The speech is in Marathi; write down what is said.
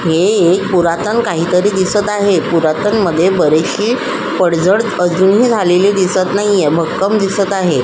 हे एक पुरातन काहीतरी दिसत आहे पुरातन मध्ये बरीचशी पडझड अजूनही झालेली अजून दिसत नाहीये भक्कम दिसत आहे.